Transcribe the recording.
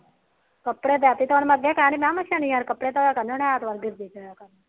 ਕੱਪੜੇ ਲੱਗ ਪੀ ਸੀ ਧੋਣ ਮੈ ਅੱਗੇ ਸ਼ਨੀਵਾਰ ਕੱਪੜੇ ਧੋਇਆ ਕਰਨੇ